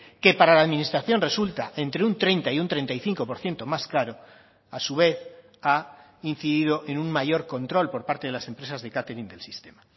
que para la administración resulta entre un treinta y un treinta y cinco por ciento más caro a su vez ha incidido en un mayor control por parte de las empresas de cáterin del sistema